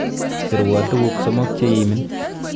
Serwo tukuk somok cheimin.